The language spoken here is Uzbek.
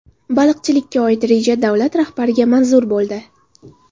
Baliqchilikka oid reja davlat rahbariga manzur bo‘ldi.